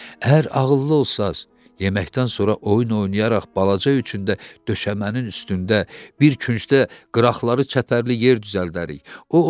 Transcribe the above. Əgər ağıllı olsanız, yeməkdən sonra oyun oynayaraq balaca üçün də döşəmənin üstündə bir küncdə qıraqları çəpərli yer düzəldərik.